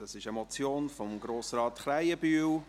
Es ist eine Motion von Grossrat Krähenbühl.